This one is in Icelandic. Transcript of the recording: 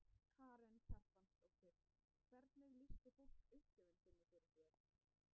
Karen Kjartansdóttir: Hvernig lýsti fólk upplifun sinni fyrir þér?